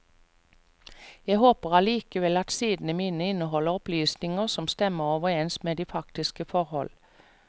Jeg håper allikevel at sidene mine inneholder opplysninger som stemmer overens med de faktiske forhold.